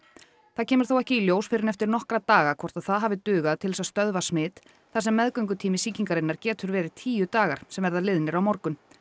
það kemur þó ekki í ljós fyrr en eftir nokkra daga hvort það hafi dugað til að stöðva smit þar sem meðgöngutími sýkingarinnar getur verið tíu dagar sem verða liðnir á morgun